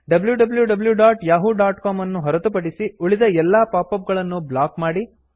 wwwyahoocom ಅನ್ನು ಹೊರತುಪಡಿಸಿ ಉಳಿದ ಎಲ್ಲಾ ಪಾಪ್ ಅಪ್ ಗಳನ್ನು ಬ್ಲಾಕ್ ಮಾಡಿ